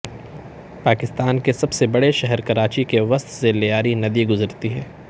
پاکستان کے سب سے بڑے شہر کراچی کے وسط سے لیاری ندی گذرتی ہے